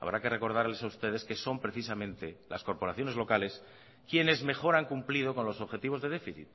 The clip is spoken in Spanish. habrá que recordarles a ustedes que son precisamente las corporaciones locales quienes mejor han cumplido con los objetivos de déficit